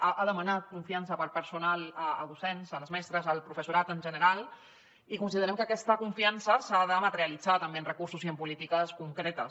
ha demanat confiança per al personal docent les mestres el professorat en general i considerem que aquesta confiança s’ha de materialitzar també amb recursos i amb polítiques concretes